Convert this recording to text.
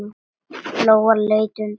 Lóa leit undan.